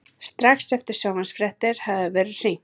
Strax eftir sjónvarpsfréttirnar hafði verið hringt.